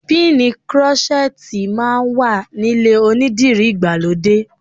Píìnì krọ́ṣẹ́tì máa wà nílé onídìrí ìgbàlódé.